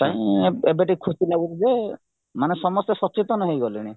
ପାଇଁ ଏବେ ଟିକେ ଖୁସି ଲାଗୁଚିଯେ ମାନେ ସମସ୍ତେ ସଚେତନ ହେଇଗଲେଣି